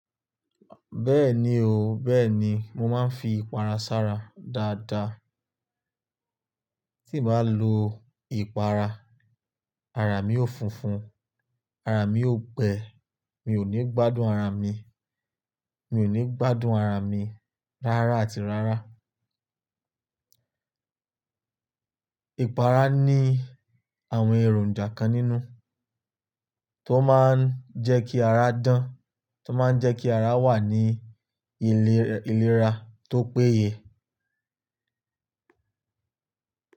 Bẹ́ẹ̀ni o, bẹ́ẹ̀ni, mo máa ń fi ipara sara dáadáa. Tí n bàá lo ìpara, ara mí yoò funfun, ara mí yoò gbẹ, mi ò ní gbádùn ara mi, mi ò ní gbádùn ara mi rárá àti rárá. Ipara ní àwọn èròǹjà kan nínú, tó máa ń jẹ́ kí ara dán, tó máa ń jẹ́ kí ara wà ní ilé ìlera tó péye.